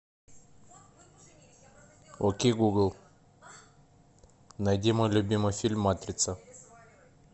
окей гугл найди мой любимый фильм матрица